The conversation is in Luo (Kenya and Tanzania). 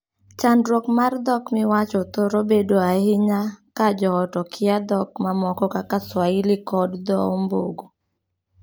Chandruok mar dhok miwacho thoro bedo ahinya ka joot okia dhok mamoko kaka swahili kod dhoo ombogo.